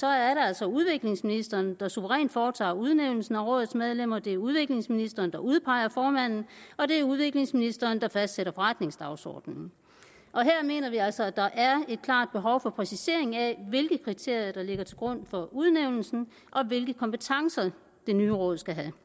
er det altså udviklingsministeren der suverænt skal foretage udnævnelsen af rådets medlemmer det er udviklingsministeren der skal udpege formanden og det er udviklingsministeren der skal fastsætte forretningsdagsordenen her mener vi altså at der er et klart behov for en præcisering af hvilke kriterier der skal ligge til grund for udnævnelsen og hvilke kompetencer det nye råd skal have